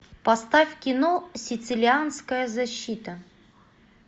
поставь кино сицилианская защита